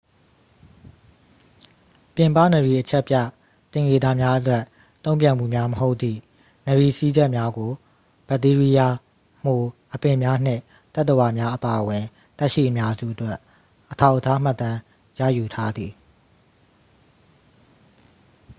ပြင်ပနရီအချက်ပြ သင်္ကေတများအတွက် တုန့်ပြန်မှုများမဟုတ်သည့် နရီစည်းချက်များကို ဘက်တီးရီးယား မှို အပင်များနှင့် သတ္တဝါများအပါအဝင် သက်ရှိအများစုအတွက် အထောက်အထားမှတ်တမ်းရယူထားသည်